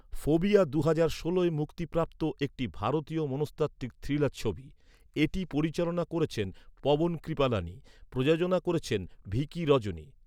‘Phobia’, দুহাজার ষোলোয় মুক্তিপ্রাপ্ত একটি ভারতীয় মনস্তাত্ত্বিক থ্রিলার ছবি। এটি পরিচালনা করেছেন পবন কৃপলানি। প্রযোজনা করেছেন ভিকি রজনী।